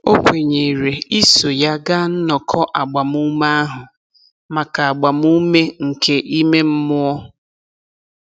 O kwenyere iso ya gaa nnọkọ agbamume ahụ maka agbamume nke ime mmụọ.